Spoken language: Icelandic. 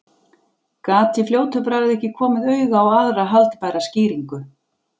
Gat í fljótu bragði ekki komið auga á aðra haldbæra skýringu.